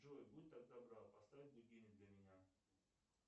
джой будь так добра поставь будильник для меня